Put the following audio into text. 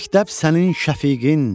Məktəb sənin şəfiqin.